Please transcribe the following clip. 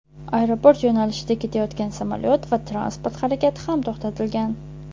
Aeroport yo‘nalishida ketayotgan samolyot va transport harakati ham to‘xtatilgan.